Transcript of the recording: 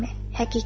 Belə deyilmi?